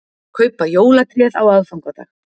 Kaupa jólatréð á aðfangadag